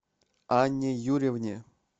анне юрьевне